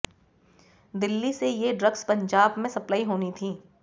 दिल्ली से ये ड्रग्स पंजाब में सप्लाई होनी थी